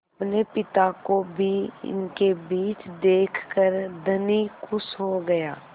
अपने पिता को भी इनके बीच देखकर धनी खुश हो गया